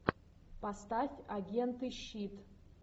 поставь агенты щит